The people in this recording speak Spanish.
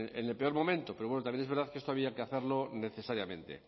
en el peor momento pero bueno también es verdad que esto había que hacerlo necesariamente